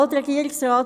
Alt-Regierungsrat